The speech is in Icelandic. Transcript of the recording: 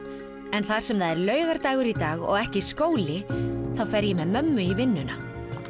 en þar sem það er laugardagur og ekki skóli þá fer ég með mömmu í vinnunna